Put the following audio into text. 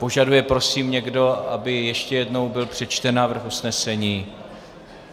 Požaduje prosím někdo, aby ještě jednou byl přečten návrh usnesení?